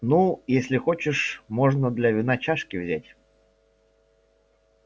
ну если хочешь можно для вина чашки взять